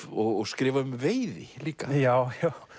og skrifa um veiði líka já